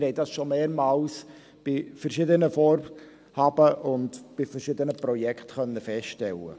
Das haben wir schon mehrmals bei verschiedenen Vorhaben und bei verschiedenen Projekten feststellen können.